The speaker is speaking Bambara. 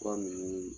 Fura ninnu